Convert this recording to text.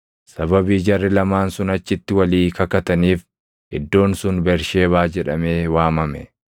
Sababii jarri lamaan sun achitti walii kakataniif iddoon sun Bersheebaa jedhamee waamame.